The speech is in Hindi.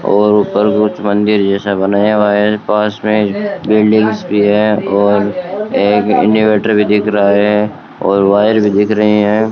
और ऊपर कुछ मंदिर जैसा बनाया हुआ है पास में बिल्डिंग्स भी है और एक इन्वर्टर भी दिख रहा है और वायर भी दिख रही हैं।